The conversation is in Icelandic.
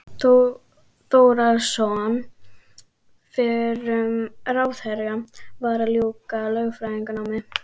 Þórðarson fyrrum ráðherra, var að ljúka lögfræðinámi.